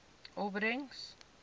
opbrengs